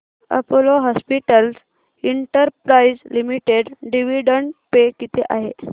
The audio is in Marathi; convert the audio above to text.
Apollo hospitals enterprise limited dividend pay किती आहे